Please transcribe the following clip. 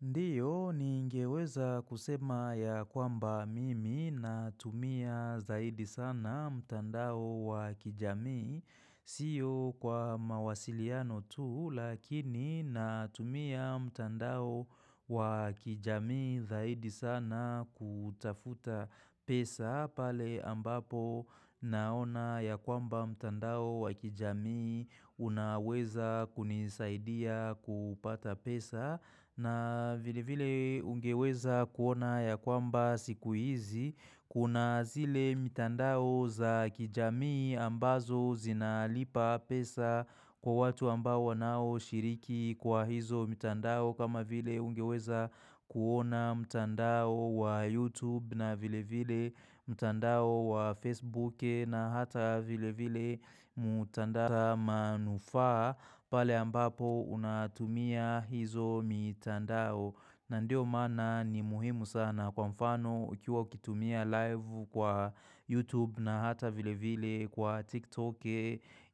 Ndiyo, ningeweza kusema ya kwamba mimi natumia zaidi sana mtandao wa kijami. Siyo kwa mawasiliano tu, lakini natumia mtandao wa kijami zaidi sana kutafuta pesa pale ambapo naona ya kwamba mtandao wa kijami unaweza kunisaidia kupata pesa na vile vile ungeweza kuona ya kwamba siku hizi kuna zile mtandao za kijamii ambazo zinalipa pesa kwa watu ambao wanaoshiriki kwa hizo mtandao kama vile ungeweza kuona mtandao wa youtube na vile vile mtandao wa facebook na hata vile vile mutandao manufaa pale ambapo unatumia hizo mitandao na ndio mana ni muhimu sana kwa mfano ukiwa ukitumia live kwa YouTube na hata vile vile kwa TikTok